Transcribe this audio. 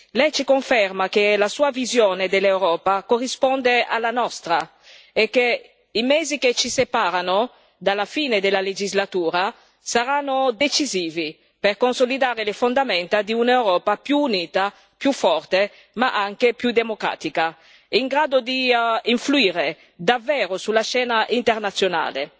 Lei ci conferma che la sua visione dell'Europa corrisponde alla nostra e che i mesi che ci separano dalla fine della legislatura saranno decisivi per consolidare le fondamenta di un'Europa più unita, più forte ma anche più democratica, in grado di influire davvero sulla scena internazionale